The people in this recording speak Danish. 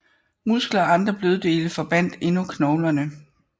Muskler og andre bløddele forbandt endnu knoglerne